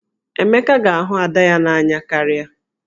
Emeka ga-ahụ Ada ya n'anya karịa.